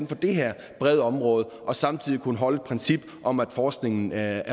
for det her brede område og samtidig kunne have et princip om at forskningen er